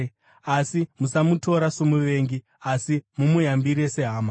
Asi musamutora somuvengi, asi mumuyambire sehama.